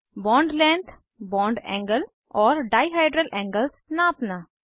bond length bond angle और dihedral angles नापना